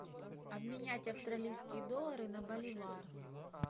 обменять австралийские доллары на боливар